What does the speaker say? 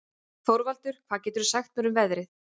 Þorvaldur, hvað geturðu sagt mér um veðrið?